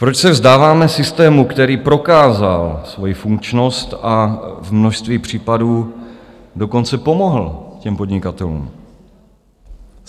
Proč se vzdáváme systému, který prokázal svoji funkčnost a v množství případů dokonce pomohl těm podnikatelům?